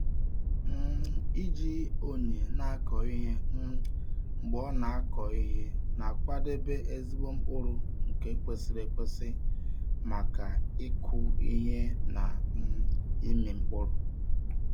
um Iji onye na-akọ ihe um mgbe ọ na-akọ ihe na-akwadebe ezigbo mkpụrụ nke kwesịrị ekwesị maka ịkụ ihe na um ịmị mkpụrụ.